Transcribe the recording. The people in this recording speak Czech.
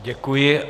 Děkuji.